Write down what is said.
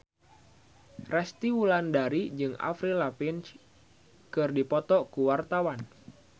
Resty Wulandari jeung Avril Lavigne keur dipoto ku wartawan